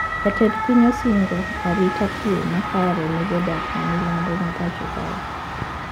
Jatend piny osingo arita kwe makare ne jodak ma milambo ma pacho kae